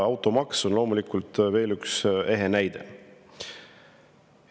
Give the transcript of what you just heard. Automaks on loomulikult veel üks ehe näide.